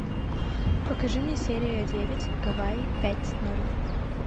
покажи мне серия девять гавайи пять ноль